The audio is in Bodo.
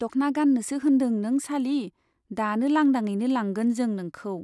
दख्ना गाननोसो होनदों नों सालि , दानो लांदांयैनो लांगोन जों नोंखौ।